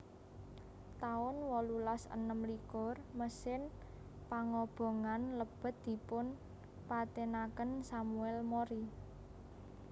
taun wolulas enem likur Mesin pangobongan lebet dipun patènaken Samuel Mori